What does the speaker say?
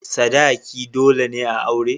Sadaki dole ne a aure.